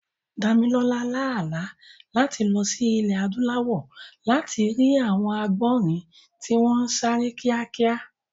Dámilọ́lá lá àlá láti lọ sí ilẹ̀ Adúláwọ̀ láti rí àwọn àgbọ̀nrìn tí wọ́n ń sáré kíákíá